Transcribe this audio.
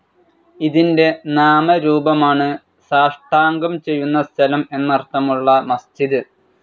ഇതിന്റെ നാമരൂപമാണ് സാഷ്ടാംഗം ചെയ്യുന്ന സ്ഥലം എന്നർത്ഥമുള്ള മസ്ജിദ്.